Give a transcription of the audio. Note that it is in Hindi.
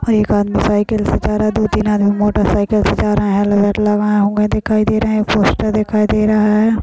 एक आदमी साइकिल से जा रहा है दो तीन आदमी मोटरसाइकिल से जा रहा है हेलमेट लगाया हुआ है पोस्टर दिखाई दे रहा है।